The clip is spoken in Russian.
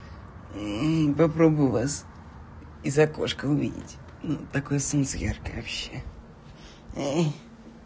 попробую вас из окошка увидеть такое солнце яркое вообще